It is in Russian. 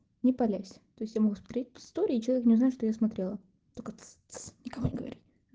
не палясь то есть я могу смотреть истории и человек не узнает что я смотрела только тсс тсс никому не говори